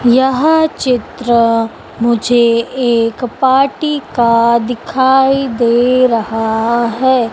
यह चित्र मुझे एक पार्टी का दिखाई दे रहा है।